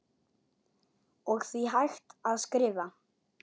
og því hægt að skrifa